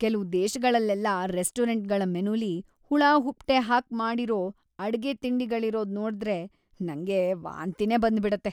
ಕೆಲ್ವು ದೇಶಗಳಲ್ಲೆಲ್ಲ ರೆಸ್ಟೋರೆಂಟ್‌ಗಳ ಮೆನುಲಿ ಹುಳಹುಪ್ಟೆ ಹಾಕ್‌ ಮಾಡಿರೋ ಅಡ್ಗೆ ತಿಂಡಿಗಳಿರೋದ್‌ ನೋಡ್ದ್ರೆ ನಂಗೆ ವಾಂತಿನೇ ಬಂದ್ಬಿಡತ್ತೆ.